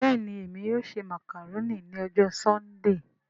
Bẹ́ẹ̀ni Emi yóò ṣe macaroni ni ọjọ Sundee